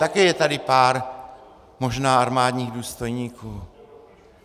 Také je tady pár možná armádních důstojníků.